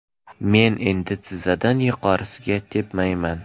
Men endi tizzadan yuqorisiga tepmayman.